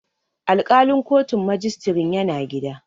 Alƙalin kotun majistirin yana gida.